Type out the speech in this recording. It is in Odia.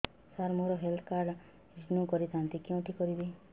ସାର ମୋର ହେଲ୍ଥ କାର୍ଡ ରିନିଓ କରିଥାନ୍ତି କେଉଁଠି କରିବି